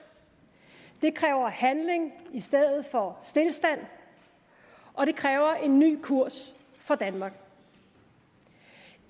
det kræver handling i stedet for stilstand og det kræver en ny kurs for danmark